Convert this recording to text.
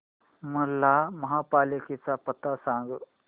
मला महापालिकेचा पत्ता सांग